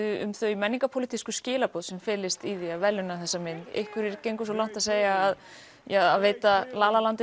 um þau menningarpólitísku skilaboð sem felist í því að verðlauna þessa mynd einhverjir gengu svo langt að segja að veita